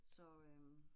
Så øh